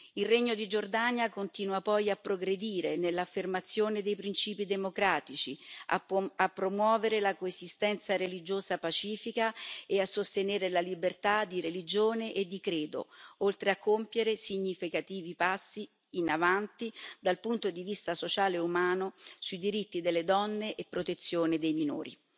Il Regno di Giordania continua poi a progredire nell'affermazione dei principi democratici, a promuovere la coesistenza religiosa pacifica e a sostenere la libertà di religione e di credo, oltre a compiere significativi passi in avanti dal punto di vista sociale e umano sui diritti delle donne e protezione dei minori.